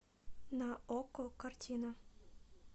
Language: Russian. на окко картина